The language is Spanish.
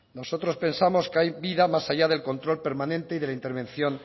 nosotros pensamos que hay vida más allá del control permanente y de la intervención